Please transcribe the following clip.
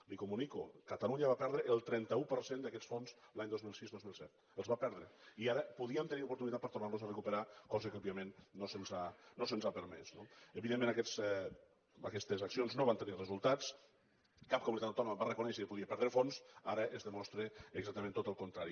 li ho comunico catalunya va perdre el trenta un per cent d’aquests fons els anys dos mil sis dos mil set els va perdre i ara podíem tenir oportunitat de tornar los a recuperar cosa que òbviament no se’ns ha permès no evidentment aquestes accions no van tenir resultats cap comunitat autònoma va reconèixer que podia perdre fons ara es demostra exactament tot el contrari